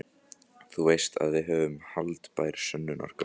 Þú veist að við höfum haldbær sönnunargögn.